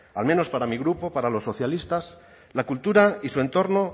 al menos para mi grupo para los socialistas la cultura y su entorno